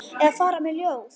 Eða fara með ljóð.